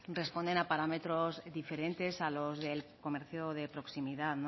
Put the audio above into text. responden a parámetros diferentes a los del comercio de proximidad